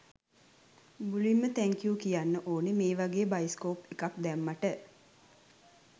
මුලින්ම තැන්කූ කියන්න ඕනේ මේවගේ බයිස්කොප් එකක් දැම්මට.